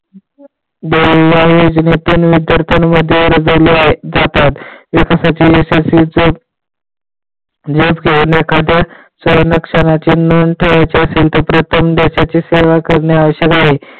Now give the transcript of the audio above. जातात नोंद ठेवायची असेल तर देशाची सेवा कारण आवश्यक आहे.